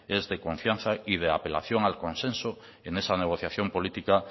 es de confianza y de apelación al consenso en esa negociación política